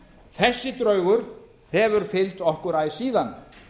þessi draugur hefur fylgt okkur æ síðan